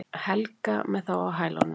Helga með þá á hælunum.